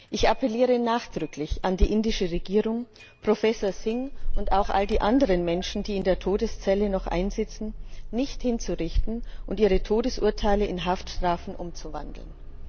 Ich appelliere nachdrücklich an die indische Regierung, Professor Singh und auch all die anderen Menschen, die noch in der Todeszelle einsitzen, nicht hinzurichten und ihre Todesurteile in Haftstrafen umzuwandeln.